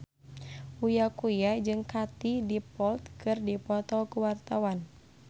Uya Kuya jeung Katie Dippold keur dipoto ku wartawan